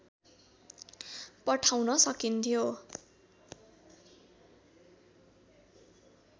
पठाउन सकिन्थ्यो